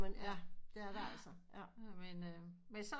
Men ja det er der altså